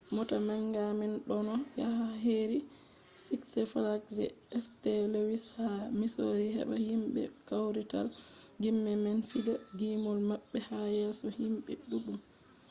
mota manga man ɗonno yaha heri siks flags je st. luwis ha misori heɓa himɓe kawrital gime man fija gimol maɓɓe ha yeso himɓe ɗuɗɗum